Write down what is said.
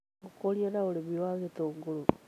Ũkũria na ũrĩmi wa gĩtũngũrũ